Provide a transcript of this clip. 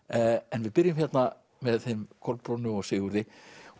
en við byrjum hérna með þeim Kolbrúnu og Sigurði